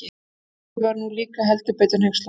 Hörður var nú líka heldur betur hneykslaður.